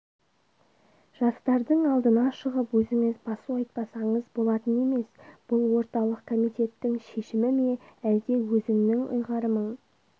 жастардың алдына шығып өзіңіз басу айтпасаңыз болатын емес бұл орталық комитеттің шешім ме әлде өзіңнің ұйғарымың